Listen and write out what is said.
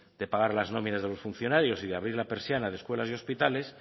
de pagar las nóminas de los funcionarios y de abrir la persiana de escuelas y hospitales